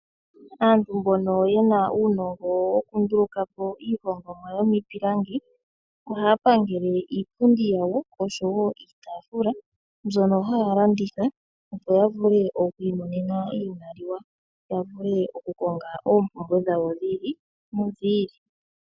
Aantu mbono yena uunongo okundulukapo iihongomwa yomiipilangi, ohaya pangele iipundi yawo, oshowo iitafula mbyono haya landitha opo ya vule oku imonena iimaliwa. Ya vule okukonga oompumbwe dhawo dhi ili nodhi ili.